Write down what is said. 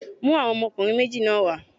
Mú àwọn ọmọkùnrin méjì náà wá.!